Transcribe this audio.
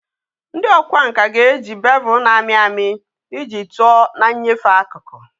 Ndị ọkwá nkà ga-eji bevel na-amị amị iji tụọ na nyefee akụkụ